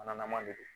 Manama de don